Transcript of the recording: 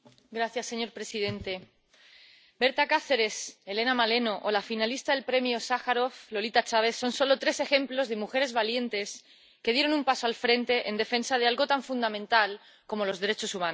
Señor presidente, Berta Cáceres, Helena Maleno o la finalista del Premio Sájarov Lolita Chávez son solo tres ejemplos de mujeres valientes que dieron un paso al frente en defensa de algo tan fundamental como los derechos humanos.